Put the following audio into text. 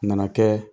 A nana kɛ